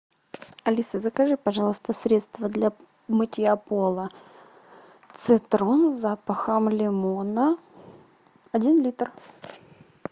алиса закажи пожалуйста средство для мытья пола цитрон с запахом лимона один литр